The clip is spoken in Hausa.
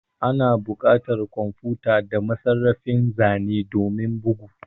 Ana buƙatar kwamfuta da masarrafin zane domin bugu